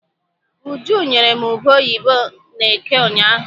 Uju nyere m ube oyibo n'eke ụnyaahụ.